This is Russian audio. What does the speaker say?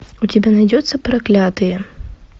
у тебя найдется проклятые